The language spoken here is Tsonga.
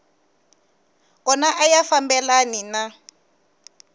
kona a ya fambelani na